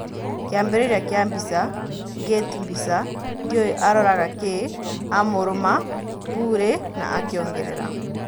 Kĩambĩrĩria kĩa Mbica, Gate Mbica "Ndĩũĩ aroraga kĩĩ," amũrũma Purĩ na akĩongerera.